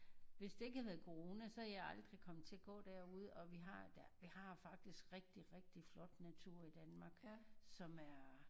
Hvis der ikke havde været corona så havde jeg aldrig kommet til at gå derude og vi har der vi har faktisk rigtig rigtig flot natur i Danmark som er